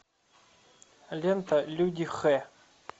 лента люди х